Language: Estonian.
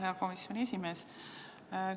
Hea komisjoni esimees!